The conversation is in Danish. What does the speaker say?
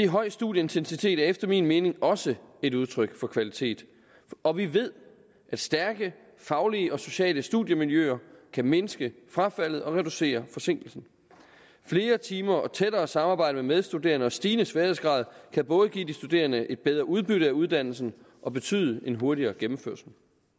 høj studieintensitet er efter min mening også et udtryk for kvalitet og vi ved at stærke faglige og sociale studiemiljøer kan mindske frafaldet og reducere forsinkelsen flere timer og tættere samarbejde med medstuderende og stigende sværhedsgrad kan både give de studerende et bedre udbytte af uddannelsen og betyde en hurtigere gennemførelse